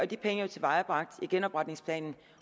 de penge er tilvejebragt i genopretningsplanen